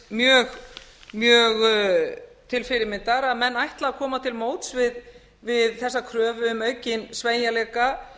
viðbrögð fjármálaráðuneytisins mjög til fyrirmyndar að menn ætli að koma til móts við þessa kröfu um aukinn sveigjanleika